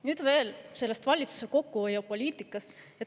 Nüüd veel sellest valitsuse kokkuhoiupoliitikast.